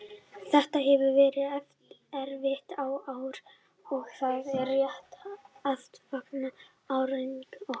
Þetta hefur verið erfitt ár og það er rétt að fagna árangri okkar.